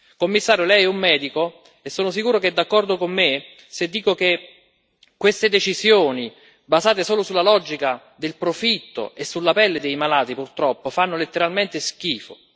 Signor commissario, lei è un medico, e sono sicuro che è d'accordo con me se dico che queste decisioni basate solo sulla logica del profitto e sulla pelle dei malati, purtroppo, fanno letteralmente schifo.